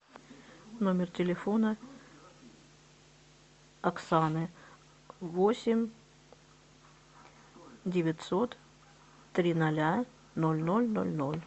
номер телефона оксаны восемь девятьсот три ноля ноль ноль ноль ноль